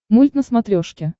мульт на смотрешке